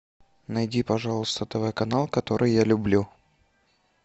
найди пожалуйста тв канал который я люблю